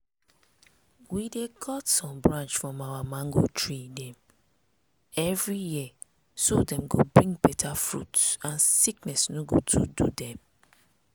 we dey cut some branch from our mango tree dem everi year so dem go bring beta fruit and sickness no go too do dem.